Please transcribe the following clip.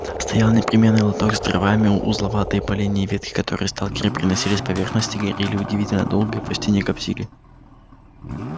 стоял непременный лоток с дровами узловатые поленья и ветки которые сталкеры приносили с поверхности горели удивительно долго и почти не коптили